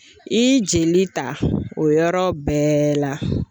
I jeli ta o yɔrɔ bɛɛ la.